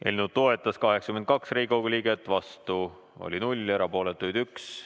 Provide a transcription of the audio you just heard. Eelnõu toetas 82 Riigikogu liiget, vastu oli 0, erapooletuid 1.